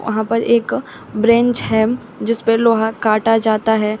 वहाँ पर एक बेंच है जिस पर लोहा काटा जाता है।